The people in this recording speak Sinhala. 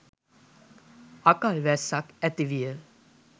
අකල් වැස්සක් ඇති විය.